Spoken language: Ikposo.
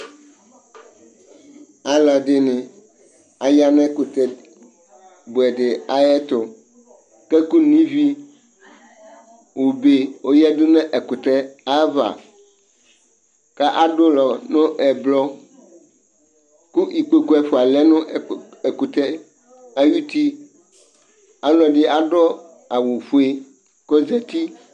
Aaluɛɖini, aya nʋ ɛkutɛ buɛɖi ayɛtʋ, k'ɛkʋ no ivi obe' ɔyeɖʋ n'ɛkʋtɛ ava, k'aɖʋ ulɔ nʋ ʋblɔ, kʋ ikpoku ɛfua lɛ nʋ ɛkʋtɛ ayuti Aalʋɛɖi aɖʋ awufoe k'ozɛti